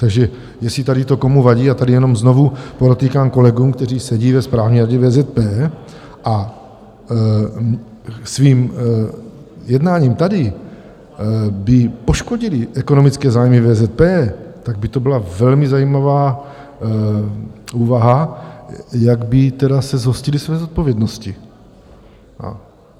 Takže jestli tady to komu vadí - a tady jenom znovu podotýkám kolegům, kteří sedí ve správní radě VZP a svým jednáním tady by poškodili ekonomické zájmy VZP, tak by to byla velmi zajímavá úvaha, jak by tedy se zhostili své zodpovědnosti.